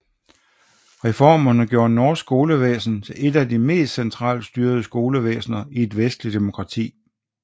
Reformerne gjorde norsk skolevæsen til et af de mest centralstyrede skolesystemer i et vestligt demokrati